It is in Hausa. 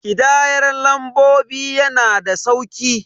Ƙidayar lambobi yana da sauki.